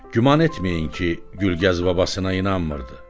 Güman etməyin ki, Gülgəz babasına inanmırdı.